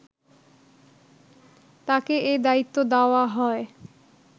তাকে এ দায়িত্ব দেওয়া হয়